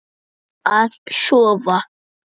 Að sofa.